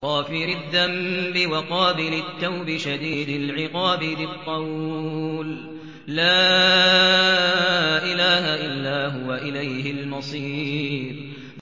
غَافِرِ الذَّنبِ وَقَابِلِ التَّوْبِ شَدِيدِ الْعِقَابِ ذِي الطَّوْلِ ۖ لَا إِلَٰهَ إِلَّا هُوَ ۖ إِلَيْهِ الْمَصِيرُ